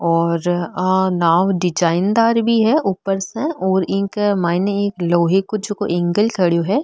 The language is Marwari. और आ नाव डिजाईनदार भी है ऊपर सेऔर इके मायने एक लोहे को जको एंगल खडियो है।